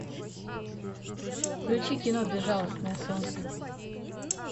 включи кино безжалостное солнце